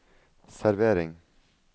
servering